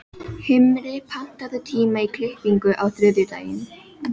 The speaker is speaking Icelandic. Himri, pantaðu tíma í klippingu á þriðjudaginn.